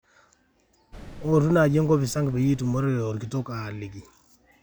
oou mpaka enkopis ang peyie itumore olkitok aliki